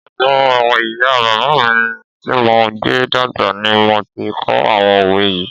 Ọ̀dọ̀ ìyá bàbá mi tí mo gbé dàgbà ni mo ti kọ́ àwọn òwe yii